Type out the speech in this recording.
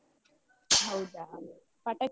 ಹೌದಾ, ಪಟಾಕಿಯೆಲ್ಲ.